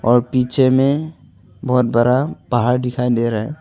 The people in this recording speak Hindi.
और पीछे में बहुत बरा पहाड़ दिखाई दे रहा है।